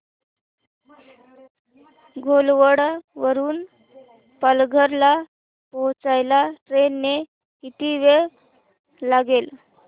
घोलवड वरून पालघर ला पोहचायला ट्रेन ने किती वेळ लागेल